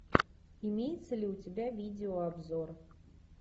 имеется ли у тебя видеообзор